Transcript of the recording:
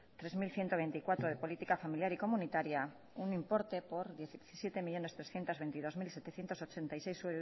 tres mil ciento veinticuatro de política familiar y comunitaria un importe por diecisiete millónes trescientos veintidós mil setecientos ochenta y seis